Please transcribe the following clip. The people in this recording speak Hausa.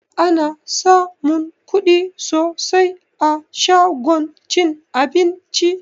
Ana samun kuɗi sosai a shagon cin abinci